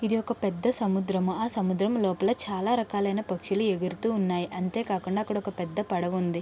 ఇది ఒక పెద్ద సముద్రము. ఆ సముద్రము లోపల చాలా రకాలైన పక్షులు ఎగురుతు ఉన్నాయి. అంతే కాకుండా అక్కడ ఒక పెద్ద పడవ ఉంది.